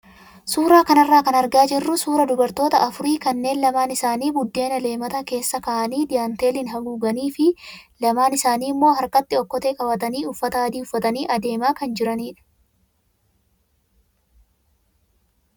Suuraa kanarraa kan argaa jirru suuraa dubartoota afurii kanneen lamaan isaanii buddeena leemata keessa kaa'anii daanteeliin haaguuganii fi lamaan isaanii immoo harkatti okkotee qabatanii uffata adii uffatanii adeemaa kan jiranidha.